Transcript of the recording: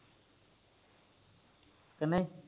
ਕਿੰਨੇ